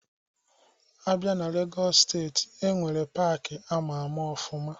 A bịa na Legọs steeti, enwere paaki ama ama ọfụma.